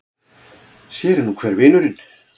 Sér er nú hver vinurinn!